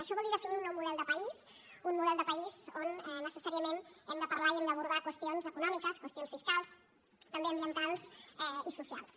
això vol dir definir un nou model de país un model de país on necessàriament hem de parlar i hem d’abordar qüestions econòmiques qüestions fiscals també ambientals i socials